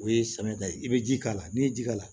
O ye samiyada ye i bɛ ji k'a la n'i ye ji k'a la